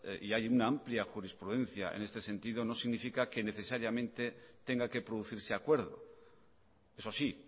y hay una amplia jurisprudencia en este sentido no significa que necesariamente tenga que producirse acuerdo eso sí